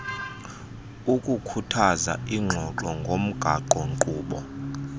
kukukhuthaza iingxoxo ngomgaqonkqubo